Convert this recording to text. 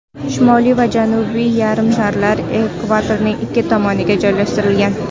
Shimoliy va Janubiy yarimsharlar ekvatorning ikki tomoniga joylashtirilgan.